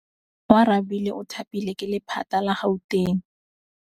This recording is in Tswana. Oarabile o thapilwe ke lephata la Gauteng.